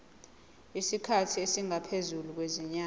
isikhathi esingaphezulu kwezinyanga